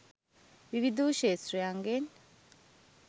විවිධ වූ ක්‍ෂෙත්‍රයන්ගෙන්